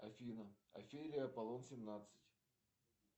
афина офелия аполлон семнадцать